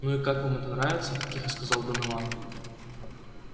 ну и как вам это нравится тихо сказал донован